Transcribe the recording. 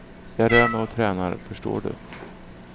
Jag rör mig och tränar, förstår du.